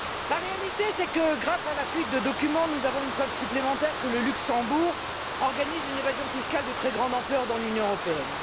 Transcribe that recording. La réalité est que, grâce à la fuite de documents, nous avons une preuve supplémentaire que le Luxembourg organise une évasion fiscale de très grande ampleur dans l'Union européenne.